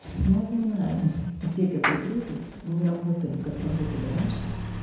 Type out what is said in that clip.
мы не знаем где какой кризис мы работаем как работали раньше